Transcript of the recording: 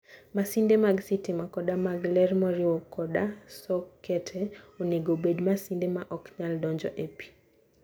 Masinde mag sitima koda mag ler moriwo koda sokete, onego obed masinde ma ok nyal donjo e pi.